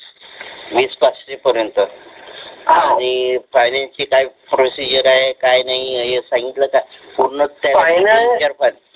विस पाचशे पर्य्नेत आणि finance चि काय procedure आहे काय नाहि हे सांगितल का पुर्ण